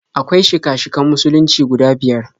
Akwai shika-shikan Musulunci guda biyar.